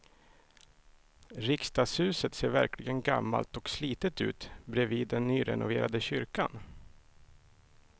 Riksdagshuset ser verkligen gammalt och slitet ut bredvid den nyrenoverade kyrkan.